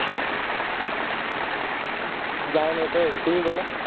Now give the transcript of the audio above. জানি না তো তুমি বলো